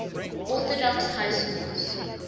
orthodox high schools